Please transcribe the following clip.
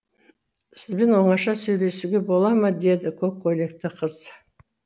сізбен оңаша сөйлесуге бола ма деді көк көйлекті қыз